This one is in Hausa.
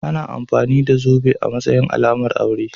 Ana amfani da zobe a matsayin alamar aure.